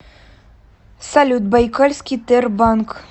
салют байкальский тербанк